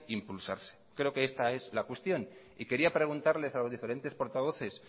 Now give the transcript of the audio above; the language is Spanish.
impulsarse creo que esta es la cuestión y quería preguntarles a los diferentes portavoces